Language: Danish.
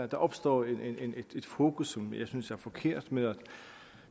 der opstår et fokus som jeg synes er forkert med at